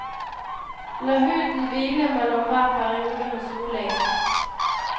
La huden hvile mellom hver periode med soling.